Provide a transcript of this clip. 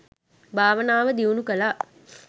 භාවනාව දියුණු කළා.